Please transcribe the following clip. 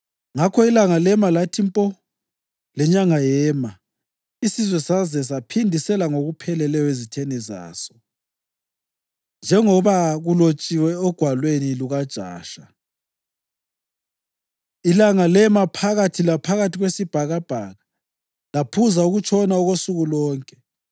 Ngakho ilanga lema lathi mpo, lenyanga yema, isizwe saze saphindisela ngokupheleleyo ezitheni zaso, njengoba kulotshiwe oGwalweni lukaJasha. Ilanga lema phakathi laphakathi kwesibhakabhaka laphuza ukutshona okosuku lonke.